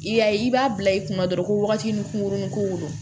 I y'a ye i b'a bila i kunna dɔrɔn ko wagati nun kun kurunin ko wo don